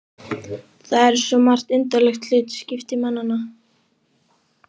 Það eru svo margt undarlegt hlutskipti mannanna.